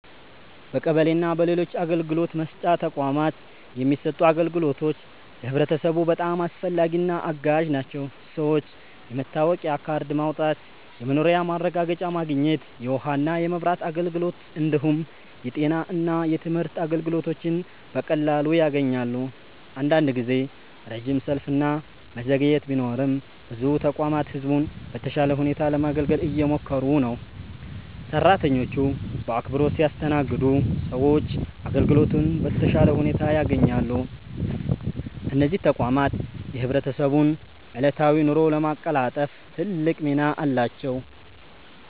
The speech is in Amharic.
በቀበሌ እና በሌሎች አገልግሎት መስጫ ተቋማት የሚሰጡት አገልግሎቶች ለህብረተሰቡ በጣም አስፈላጊና አጋዥ ናቸው። ሰዎች የመታወቂያ ካርድ ማውጣት፣ የመኖሪያ ማረጋገጫ ማግኘት፣ የውሃና የመብራት አገልግሎት እንዲሁም የጤና እና የትምህርት አገልግሎቶችን በቀላሉ ያገኛሉ። አንዳንድ ጊዜ ረጅም ሰልፍ እና መዘግየት ቢኖርም ብዙ ተቋማት ህዝቡን በተሻለ ሁኔታ ለማገልገል እየሞከሩ ነው። ሰራተኞቹ በአክብሮት ሲያስተናግዱ ሰዎች አገልግሎቱን በተሻለ ሁኔታ ያገኛሉ። እነዚህ ተቋማት የህብረተሰቡን ዕለታዊ ኑሮ ለማቀላጠፍ ትልቅ ሚና አላቸው።